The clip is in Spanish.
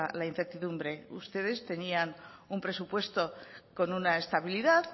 la incertidumbre ustedes tenían un presupuesto con una estabilidad